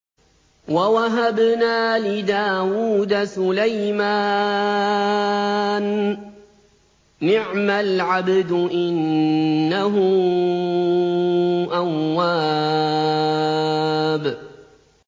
وَوَهَبْنَا لِدَاوُودَ سُلَيْمَانَ ۚ نِعْمَ الْعَبْدُ ۖ إِنَّهُ أَوَّابٌ